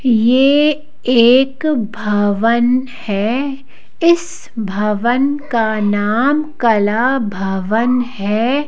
यह एक भवन है इस भवन का नाम कला भवन है।